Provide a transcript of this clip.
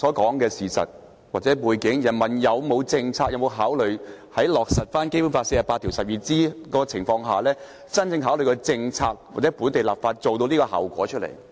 基於剛才所說的事實或背景，在落實《基本法》第四十八條第項的情況下，當局會否真正考慮以實施政策或本地立法來達致這種效果？